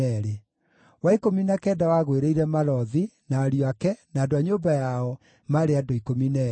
wa ikũmi na kenda wagũĩrĩire Malothi, na ariũ ake, na andũ a nyũmba yao, maarĩ andũ 12;